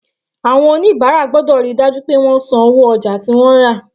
Àwọn oníbàárà gbọ́dọ̀ ríi dájú pé àwọn san owó ojà tí àwọn rà.